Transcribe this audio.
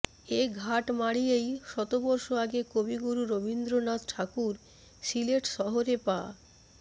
এ ঘাট মাড়িয়েই শতবর্ষ আগে কবিগুরু রবীন্দ্রনাথ ঠাকুর সিলেট শহরে পা